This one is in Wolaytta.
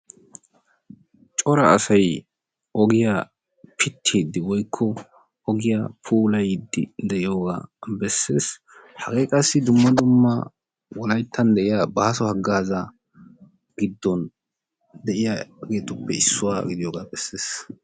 Cora asayi ogiya pittiiddi woykko ogiya puulayiiddi diyogaa besses. Hagee qassi dumma dumma wolayttan de'iya bàaso haggaaza giddon de'iyageetuppe issuwa godiyogaa besses.